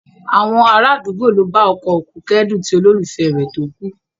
Àwọn ará àdúgbò ló bá ọkọ òkú kẹ́dùn ti olólùfẹ́ rẹ̀ tó kú